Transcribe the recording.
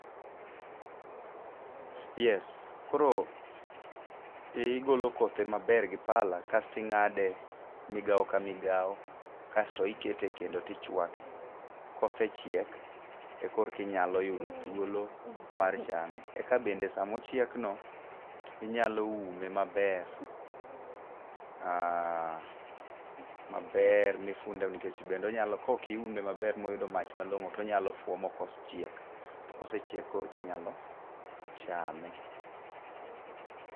Yes. Koro iye ogolo kothe maber gi pala, kasto ing'ade migawo ka migawo kasto ikete e kendo tichwake. Kosechiek,e korki nyalo yudo thuolo mar chame. Eka bende samochiekno, inyalo ume maber. Maber mifunde nikech bende kok iume maber moyudo mach malong'o, tonyalo fuwo mokos chiek. To kosechiek korki nyalo chame.